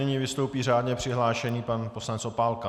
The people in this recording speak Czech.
Nyní vystoupí řádně přihlášený pan poslanec Opálka.